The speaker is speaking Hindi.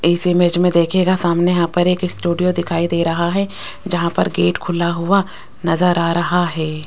इस इमेज में देखियेगा सामने यहां पर एक स्टूडियो दिखाई दे रहा है जहां पर गेट खुला हुआ नजर आ रहा है।